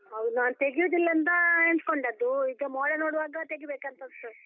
ಹೌದು ನಾನು ತೆಗಿಯುದಿಲ್ಲ ಅಂತ ಎನಿಸ್ಕೊಂಡದ್ದು, ಈಗ ಮೋಡ ನೋಡುವಾಗ ತೆಗಿಬೇಕಂತ ಅನ್ಸ್ತದೆ.